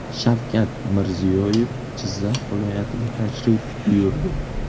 Shavkat Mirziyoyev Jizzax viloyatiga tashrif buyurdi.